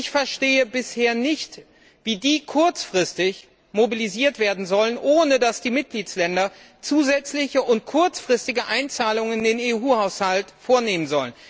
Ich verstehe bisher nicht, wie die kurzfristig mobilisiert werden sollen, ohne dass die Mitgliedstaaten zusätzliche und kurzfristige Einzahlungen in den EU Haushalt vornehmen.